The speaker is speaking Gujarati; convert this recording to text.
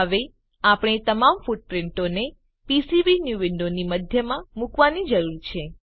હવે આપણે તમામ ફૂટપ્રીંટોને પીસીબીન્યૂ વિન્ડોની મધ્યમાં મુકવાની જરૂર છે